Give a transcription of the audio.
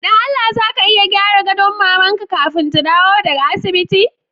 Don Allah za ka iya gyara gadon maman ka kafin ta dawo daga asibiti?